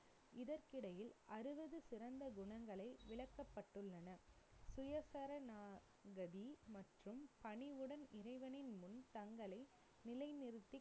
இதற்கிடையில், அறுபது சிறந்த குணங்களை, விளக்கப்பட்டுள்ளன மற்றும் பணிவுடன் இறைவனின் முன் தங்களை நிலைநிறுத்திக்